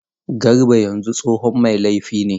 Garba yanzu tsohon mai laifi ne.